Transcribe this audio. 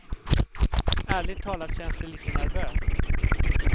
Ärligt talat känns det lite nervöst.